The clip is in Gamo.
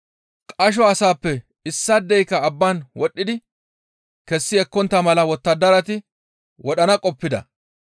Qasho asaappe issaadeyka abbaan wodhdhidi kessi ekkontta mala wottadarati wodhana qoppida.